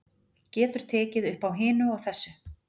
Getur tekið uppá hinu og þessu.